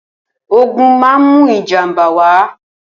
Ógùn mà n mù ijàmbá wá